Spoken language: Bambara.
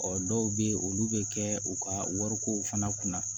Ɔ dɔw bɛ yen olu bɛ kɛ u ka wariko fana kunna